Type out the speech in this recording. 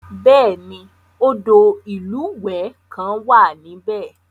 Bẹ́ẹ̀ni, odò ìlúwẹ̀ẹ́ kan wà níbẹ̀.